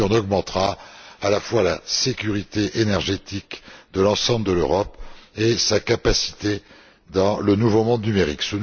Mais on augmentera également à la fois la sécurité énergétique de l'ensemble de l'Europe et sa capacité dans le nouveau monde numérique.